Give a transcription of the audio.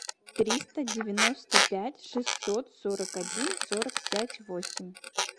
триста девяносто пять шестьсот сорок один сорок пять восемь